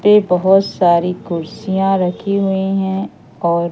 बहुत सारी कुर्सियां रखी हुई हैं और --